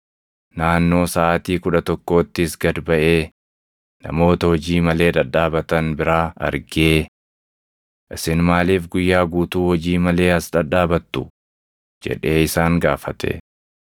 Naannoo saʼaatii kudha tokkoottis gad baʼee namoota hojii malee dhadhaabatan biraa argee, ‘Isin maaliif guyyaa guutuu hojii malee as dhadhaabattu?’ jedhee isaan gaafate.